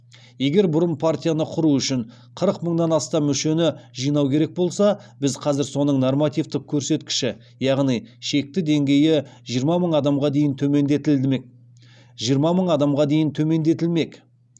егер бұрын партияны құру үшін қырық мыңнан астам мүшені жинау керек болса біз қазір соның нормативтік көрсеткіші яғни шекті деңгейі жиырма мың адамға дейін төмендетілмек